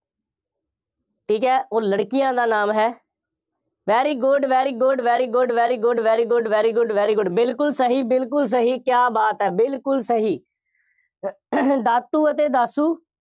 ਠੀਕ ਹੈ, ਉਹ ਲੜਕੀਆਂ ਦਾ ਨਾਮ ਹੈ। very good, very good, very good, very good, very good, very good, very good ਬਿਲਕੁੱਲ ਸਹੀ, ਬਿਲਕੁੱਲ ਸਹੀ, ਕਿਆ ਬਾਤ ਹੈ, ਬਿਲਕੁੱਲ ਸਹੀ। ਦਾਤੂ ਅਤੇ ਦਾਸੂ,